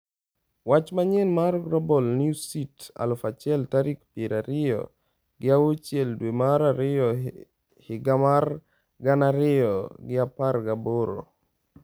Wach manyien mar Global Newsbeat 1000 tarik piero ariyo gi auchiel dwe mar ariyo higa mar gana ariyo gi apar gi aboro